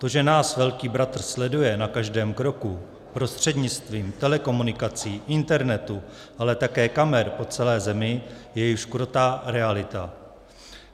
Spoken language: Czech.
To, že nás velký bratr sleduje na každém kroku prostřednictvím telekomunikací, internetu, ale také kamer po celé zemi, je již krutá realita.